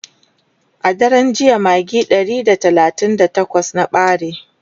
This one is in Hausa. a daran jiya magi Ɗari da talatin da takwas na ɓare